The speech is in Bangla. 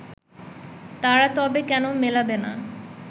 তারা তবে কেন মেলাবে না